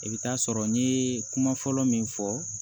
I bɛ taa sɔrɔ n ye kuma fɔlɔ min fɔ